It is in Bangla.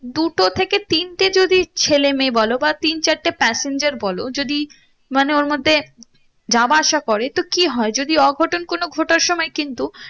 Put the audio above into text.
দুটো থেকে তিনটে যদি ছেলে মেয়ে বলো বা তিন চারটে passenger বলো যদি মানে ওর মধ্যে যাবা আসা করে তো কি হয়ে যদি অঘটন কোনো ঘটার সময় কিন্তু